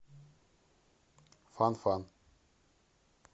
фан фан